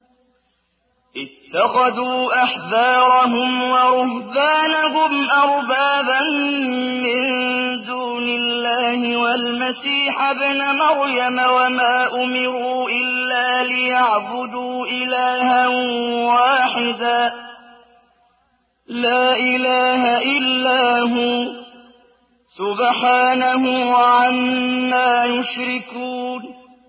اتَّخَذُوا أَحْبَارَهُمْ وَرُهْبَانَهُمْ أَرْبَابًا مِّن دُونِ اللَّهِ وَالْمَسِيحَ ابْنَ مَرْيَمَ وَمَا أُمِرُوا إِلَّا لِيَعْبُدُوا إِلَٰهًا وَاحِدًا ۖ لَّا إِلَٰهَ إِلَّا هُوَ ۚ سُبْحَانَهُ عَمَّا يُشْرِكُونَ